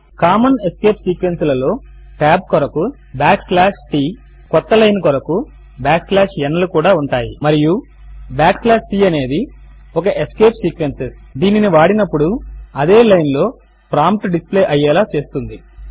common escape sequences లలో tab కొరకు t backslash ట్ క్రొత్త లైన్ కొరకు n లు కూడా ఉంటాయి మరియు c అనేది ఒక ఎస్కేప్ సీక్వెన్సెస్ దీనిని వాడినప్పుడు అదే లైన్ లో ప్రాంప్ట్ డిస్ప్లే అయ్యేలా చేస్తుంది